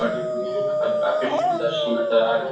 और काफी सुंदर-सी नजर आ रहे हैं।